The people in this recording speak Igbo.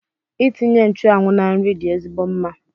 Itinye nchụanwụ na nri dị ezigbo mma